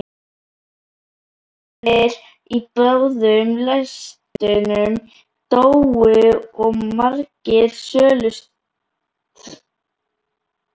Vélamennirnir í báðum lestunum dóu og margir slösuðust.